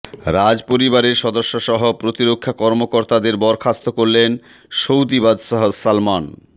রাজপরিবারের সদস্যসহ প্রতিরক্ষা কর্মকর্তাদের বরখাস্ত করলেন সৌদি বাদশাহ সালমান